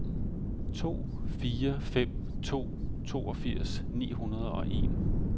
to fire fem to toogfirs ni hundrede og en